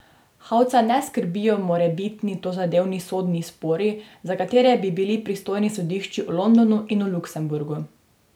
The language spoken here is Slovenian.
Hauca ne skrbijo morebitni tozadevni sodni spori, za katere bi bili pristojni sodišči v Londonu in Luksemburgu.